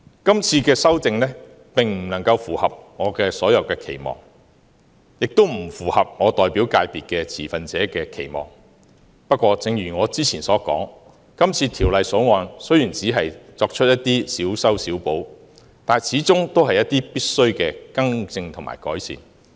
今次修訂並不能符合我所有的期望，也不符合我代表界別的持份者的期望，不過，正如我之前所說，《條例草案》雖然只是作出一些小修小補，但始終是一些必需的更正和改善。